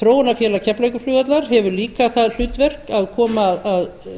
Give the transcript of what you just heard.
þróunarfélag keflavíkurflugvallar hefur líka það hlutverk að koma að